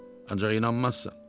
Ancaq inanmazsan.